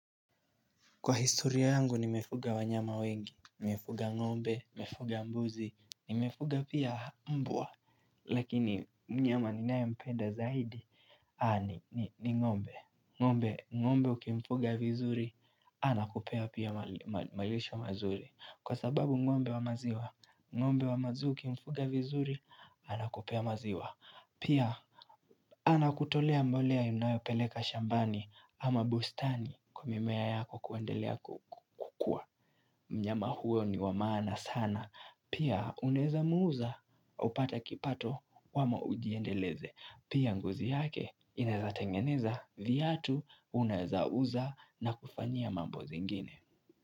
Kwa historia yangu nimefuga wanyama wengi, nimefuga ng'ombe, nimefuga mbuzi, nimefuga pia mbwa, lakini mnyama ninayempenda zaidi Haa ni ng'ombe, ng'ombe, ngombe ukimfuga vizuri, anakupea pia malisho mazuri, kwa sababu ng'ombe wa maziwa, ng'ombe wa maziwa ukimfuga vizuri, anakupea maziwa, pia anakutolea mbolea unayopeleka shambani ama bustani kwa mimea yako kuendelea kukua. Mnyama huyo ni wamaana sana. Pia unaweza muuza upate kipato ama ujiendeleze. Pia ngozi yake inawezatengeneza viatu unaweza uza na kufanyia mambo zingine.